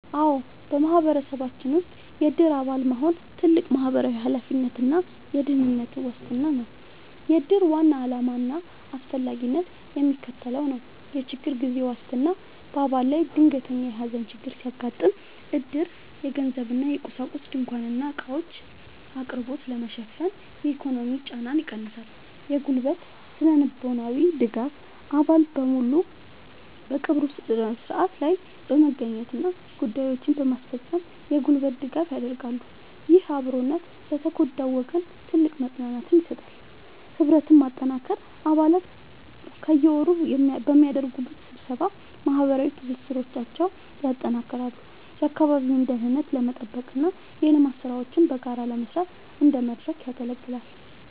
አዎ፣ በማህበረሰባችን ውስጥ የዕድር አባል መሆን ትልቅ ማህበራዊ ኃላፊነትና የደህንነት ዋስትና ነው። የዕድር ዋና ዓላማና አስፈላጊነት የሚከተለው ነው፦ የችግር ጊዜ ዋስትና፦ በአባል ላይ ድንገተኛ የሐዘን ችግር ሲያጋጥም፣ ዕድር የገንዘብና የቁሳቁስ (ድንኳንና ዕቃዎች) አቅርቦትን በመሸፈን የኢኮኖሚ ጫናን ይቀንሳል። የጉልበትና ስነ-ልቦናዊ ድጋፍ፦ አባላት በሙሉ በቀብሩ ሥነ ሥርዓት ላይ በመገኘትና ጉዳዮችን በማስፈጸም የጉልበት ድጋፍ ያደርጋሉ። ይህ አብሮነት ለተጎዳው ወገን ትልቅ መጽናናትን ይሰጣል። ህብረትን ማጠናከር፦ አባላት በየወሩ በሚያደርጉት ስብሰባ ማህበራዊ ትስስራቸውን ያጠናክራሉ፤ የአካባቢውን ደህንነት ለመጠበቅና የልማት ሥራዎችን በጋራ ለመስራት እንደ መድረክ ያገለግላል።